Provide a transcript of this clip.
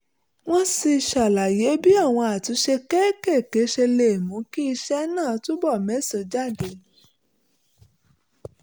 wọ́n sì ṣàlàyé bí àwọn àtúnṣe kéékèèké ṣe lè mú kí iṣẹ́ náà túbọ̀ méso jáde